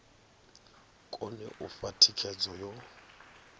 kone u fha thikhedzo yo